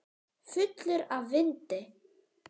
Fullur af vindi.